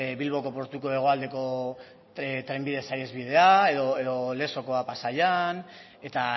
bilboko portuko hegoaldeko trenbide saihesbidea edo lezokoa pasaian eta